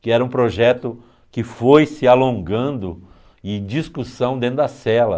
Que era um projeto que foi se alongando em discussão dentro da cela.